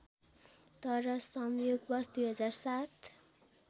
तर संयोगवश २००७